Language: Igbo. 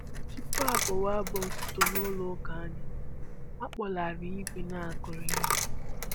Tupu a bụwa abụ otito n'ụlọ ụka anyị, a kpọlarị igwe na-akụri ihe